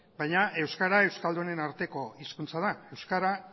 baina euskara euskaldunen arteko hizkuntza da euskara